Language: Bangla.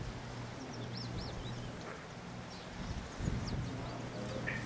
লাভ ও~